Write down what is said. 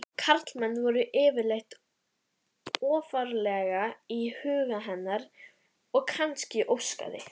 Karlmenn voru yfirleitt ofarlega í huga hennar og kannski óskaði